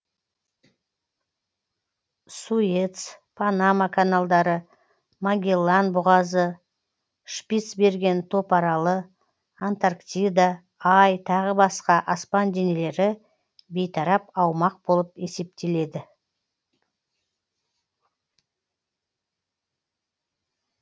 суэц панама каналдары магеллан бұғазы шпицберген топаралы антарктида ай тағы басқа аспан денелері бейтарап аумақ болып есептеледі